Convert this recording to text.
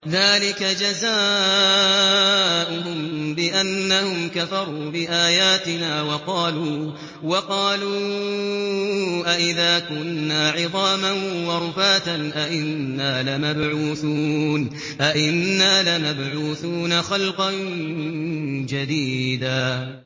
ذَٰلِكَ جَزَاؤُهُم بِأَنَّهُمْ كَفَرُوا بِآيَاتِنَا وَقَالُوا أَإِذَا كُنَّا عِظَامًا وَرُفَاتًا أَإِنَّا لَمَبْعُوثُونَ خَلْقًا جَدِيدًا